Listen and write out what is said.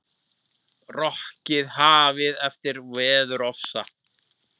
Rokkið hafið eftir veðurofsa